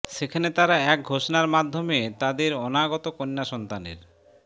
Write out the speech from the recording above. সেখানে তারা এক ঘোষণার মাধ্যমে তাদের অনাগত কন্যা সন্তানের